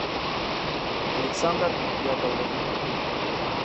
александр яковлев